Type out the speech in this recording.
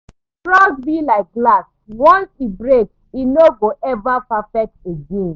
Trust be like glass, once e break, e no go ever perfect again.